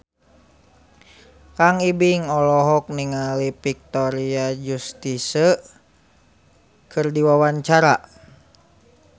Kang Ibing olohok ningali Victoria Justice keur diwawancara